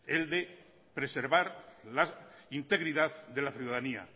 el de preservar la integridad de la ciudadanía